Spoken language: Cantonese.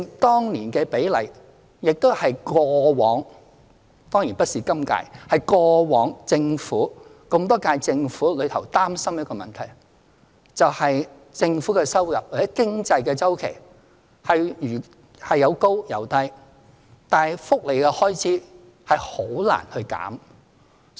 當年的比例正正是過往——當然不是今屆——歷屆政府所擔心的問題，就是政府的收入或經濟周期有高有低，但福利開支則很難減少。